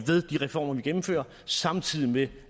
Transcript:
reformer vi gennemfører samtidig med